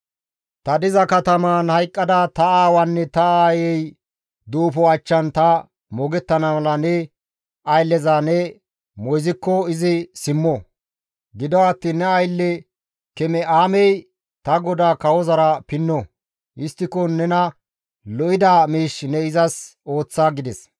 Ta diza katamaan hayqqada ta aawaanne ta aayey duufo achchan ta moogettana mala ne aylleza ne moyzikko izi simmo; gido attiin ne aylle Keme7aamey ta godaa kawozara pinno; histtiko nena lo7ida miish ne izas ooththa» gides.